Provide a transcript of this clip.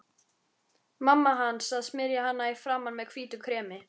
Mamma hans að smyrja hana í framan með hvítu kremi.